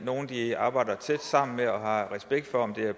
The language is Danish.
nogle de arbejder tæt sammen med og har respekt for om det er